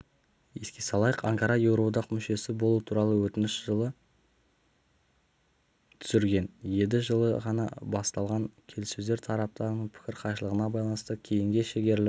еске салайық анкара еуроодақ мүшесі болу туралы өтінішін жылы түсірген еді жылы ғана басталған келісөздер тараптардың пікір қайшылығына байланысты кейінге шегеріліп